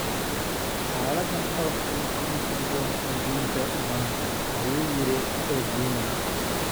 Hadalladan oo kale kuma habboona adduunka maanta'', ayuu yiri Oguna.